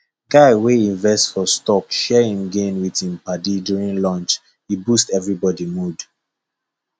guy wey invest for stock share him gain with him padi during lunch e boost everybody mood